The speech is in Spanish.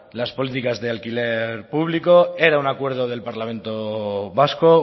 las políticas de alquiler público era un acuerdo del parlamento vasco